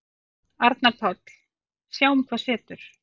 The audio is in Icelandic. Arnar Páll: Sjáum hvað setur.